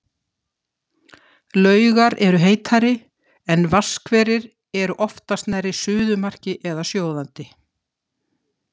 Laugar eru heitari, en vatnshverir eru oftast nærri suðumarki eða sjóðandi.